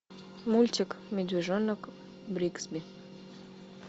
мультик медвежонок бригсби